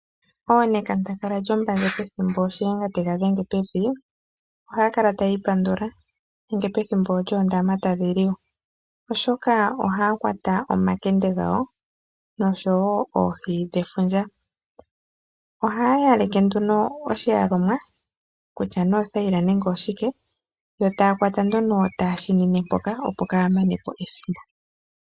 Oonekandangala lyombandje pethimbo Shiyenga tega dhenge pevi, ohaya kala tayi ipandula nenge pethimbo lyoondama tadhi liwa, oshoka ohaya kwata omakende gawo noshowo oohi dhefundja. Ohaya yaleke nduno oshiyalomwa kutya nee othaila nenge oshike, yo taya kwata nduno taya shimine mpoka, opo kaa ya mane po ethimbo.